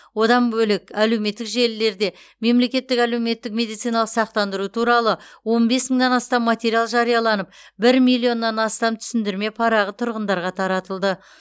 одан бөлек әлеуметтік желілерде мемлекеттік әлеуметтік медициналық сақтандыру туралы он бес мыңнан астам материал жарияланып бір миллион астам түсіндірме парағы тұрғындарға таратылды